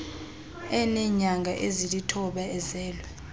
eneenyanga ezilithoba ezelwe